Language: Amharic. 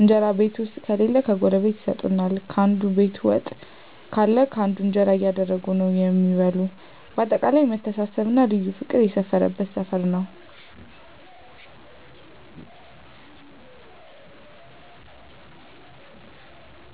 እንጀራ ቤት ዉስጥ ከሌለ ጎረቤት ይሰጡሀል፣ ካንዱ ቤት ወጥ ካለ ካንዱ እንጀራ እያደረጉ ነዉ እሚበሉ በአጠቃላይ መተሳሰብ እና ልዩ ፍቅር ያለበት ሰፈር ነዉ።